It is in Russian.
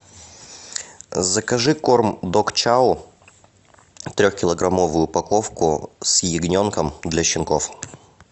закажи корм дог чау трехкилограммовую упаковку с ягненком для щенков